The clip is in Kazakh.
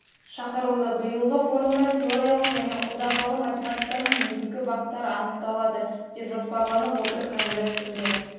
шақырылды биылғы форумда теориялық және қолданбалы математиканың негізгі бағыттары анықталады деп жоспарланып отыр конгресс күнге